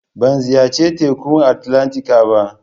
Ban ziyarci Tekun Atlantika ba.